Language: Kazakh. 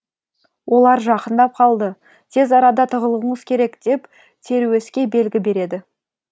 олар жақындап қалды тез арада тығылуыңыз керек деп теруеске белгі береді